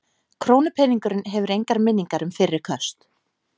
Krónupeningurinn hefur engar minningar um fyrri köst.